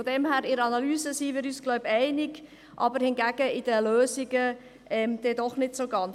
Von dem her gesehen denke ich, dass wir uns in der Analyse einig sind, bei den Lösungen hingegen sind wir es nicht so ganz.